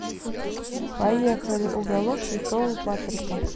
поехали уголок святого патрика